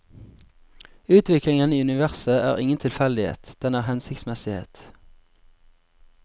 Utviklingen i universet er ingen tilfeldighet, den er hensiktsmessighet.